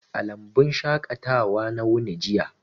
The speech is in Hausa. A lambun shaƙatawa na wuni jiya.